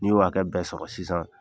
N'i y'o hakɛ bɛɛ sɔrɔ sisan,